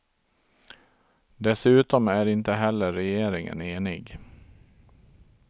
Dessutom är inte heller regeringen enig.